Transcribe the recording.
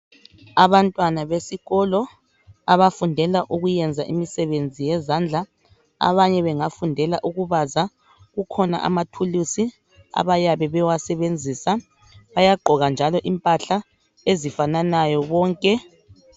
Abantwana besikolo abafundela ukuyenza imisebenzi yezandla, abanye bangafundela ukubaza, kukhona amathulusi abayabe bewasebenzisa bayagqoka njalo impahla ezifananayo bonke.